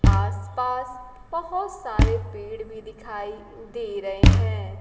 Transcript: आस पास बहुत सारे पेड़ भी दिखाई दे रहे हैं।